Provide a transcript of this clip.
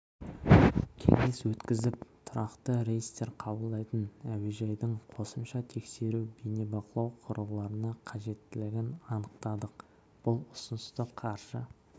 кеңес өткізіп тұрақты рейстер қабылдайтын әуежайдың қосымша тексеру бейнебақылау құрылғыларына қажеттілігін анықтадық бұл ұсынысты қаржы